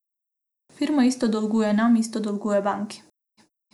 Firma isto dolguje nam, isto dolguje banki.